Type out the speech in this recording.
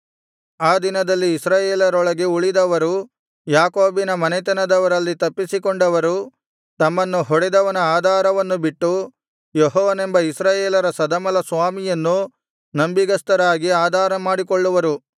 ಆ ದಿನದಲ್ಲಿ ಇಸ್ರಾಯೇಲರೊಳಗೆ ಉಳಿದವರು ಯಾಕೋಬಿನ ಮನೆತನದವರಲ್ಲಿ ತಪ್ಪಿಸಿಕೊಂಡವರು ತಮ್ಮನ್ನು ಹೊಡೆದವನ ಆಧಾರವನ್ನು ಬಿಟ್ಟು ಯೆಹೋವನೆಂಬ ಇಸ್ರಾಯೇಲರ ಸದಮಲಸ್ವಾಮಿಯನ್ನು ನಂಬಿಗಸ್ತರಾಗಿ ಆಧಾರಮಾಡಿಕೊಳ್ಳುವರು